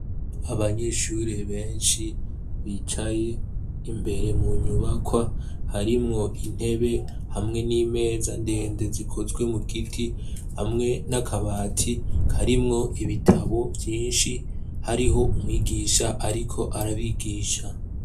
Abanyeshuri benshi bicaye imbere mu nyubakwa harimwo intebe hamwe n'imeza ndende zikozwe mu giti, hamwe n'akabati karimwo ibitabo vyinshi, hariho umwigisha ariko arabigisha.